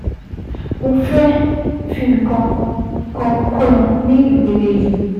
Mo fẹ́ fi nǹkan kan kún un ní ìpele yìí